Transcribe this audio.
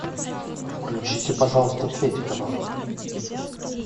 включите пожалуйста третий канал